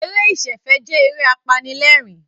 Eré ìsẹ̀fẹ̀ jẹ́ eré apanilẹ́rìn-ín